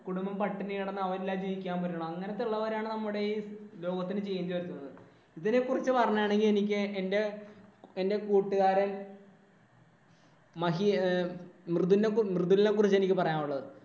കുടുംബം പട്ടിണി കിടന്നു അവരില്ലാതെ ജീവിക്കാൻ പറ്റണം. അങ്ങനത്തെ ഉള്ളവരാണ് നമ്മുടെ ഈ ലോകത്തിന് change വരുത്തുന്നത്. ഇതിനെക്കുറിച്ച് പറയാണെങ്കിൽ ഇതിനെ പറ്റി പറയണമെനില്‍ എനിക്ക് എന്‍റെ കൂട്ടുകാരന്‍ മൃദുലിനെ കുറിച്ച് എനിക്ക് പറയാനുള്ളത്.